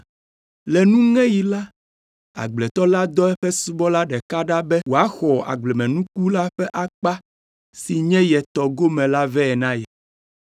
Le nuŋeɣi la, agbletɔ la dɔ eƒe subɔla ɖeka ɖa be wòaxɔ agblemenuku la ƒe akpa si nye ye tɔ gome la vɛ na ye,